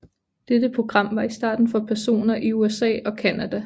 Dette program var i starten for personer i USA og Canada